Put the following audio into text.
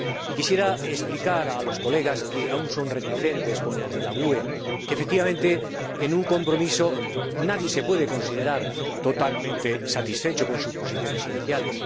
Quisiera explicar a los colegas que aún son reticentes, como los del Grupo GUE NGL, que, efectivamente, en una transacción, nadie se puede considerar totalmente satisfecho con respecto a sus posiciones iniciales.